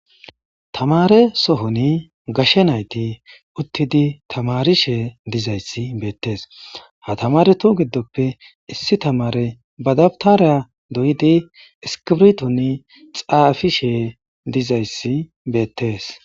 Tamare sohoni gashe nayti uttidi tamarishe dizayssi beettees ha tamare tu giddoppe issi tamare badabtariya doyidi iskibrton xaafi shee dizayssi beettees